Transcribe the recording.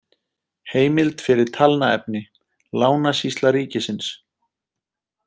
Heimild fyrir talnaefni: Lánasýsla ríkisins